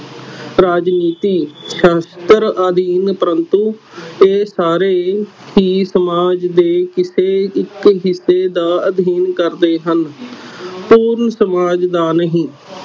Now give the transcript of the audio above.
ਰਾਜਨੀਤੀ ਸਾਸਤ੍ਰ ਅਧੀਨ ਪ੍ਰੰਤੂ ਇਹ ਸਾਰੇ ਹੀ ਸਮਾਜ ਦੇ ਕਿਸੇ ਇਕ ਹਿੱਸੇ ਦਾ ਅਧੀਨ ਕਰਦੇ ਹਨ ਪੂਰਨ ਸਮਾਜ ਦਾ ਨਹੀਂ